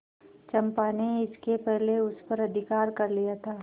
चंपा ने इसके पहले उस पर अधिकार कर लिया था